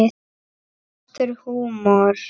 Svartur húmor.